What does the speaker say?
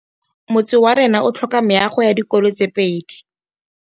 Motse warona o tlhoka meago ya dikolô tse pedi.